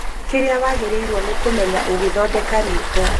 Kĩrĩa wagĩrĩirwo nĩ kũmenya ũgĩthondeka riko